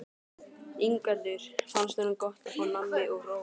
Ingveldur: Finnst honum gott að fá nammi og hrós?